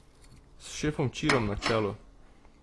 S šefom Ćirom na čelu.